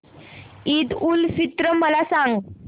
ईद उल फित्र मला सांग